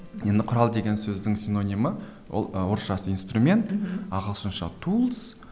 енді құрал деген сөздің синонимі ол ы орысшасы инстумент ағылшынша тулс